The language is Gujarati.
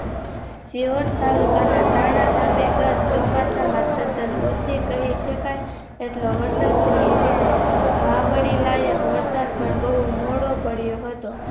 શિહોર તાલુકાના તાના ગામે ગત ચોમાસા સર્જન ઓછી કહીશકાય એટલો વરસાદ પડ્યો હતો વાવણી લાયક વરસાદ પણ બહુ મોડો પડ્યો હતો